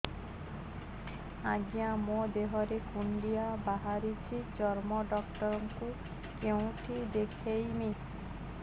ଆଜ୍ଞା ମୋ ଦେହ ରେ କୁଣ୍ଡିଆ ବାହାରିଛି ଚର୍ମ ଡାକ୍ତର ଙ୍କୁ କେଉଁଠି ଦେଖେଇମି